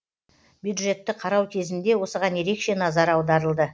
бюджетті қарау кезінде осыған ерекше назар аударылды